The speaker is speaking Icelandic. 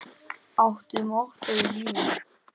Áttu mottó í lífinu?